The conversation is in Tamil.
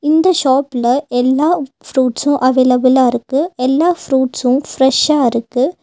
இந்த ஷாப்ல எல்லா ஃப்ரூட்ஸ்சஸு அவைலபிளா இருக்கு எல்லா ஃப்ரூட்ஸ்சஸு ஃப்ரஷ்ஷா இருக்கு.